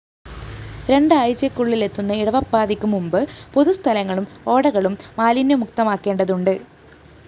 രണ്ടാഴ്ചയ്ക്കുള്ളില്‍ എത്തുന്ന ഇടവപ്പാതിക്ക് മുമ്പ് പൊതുസ്ഥലങ്ങളും ഓടകളും മാലിന്യമുക്തമാക്കേണ്ടതുണ്ട്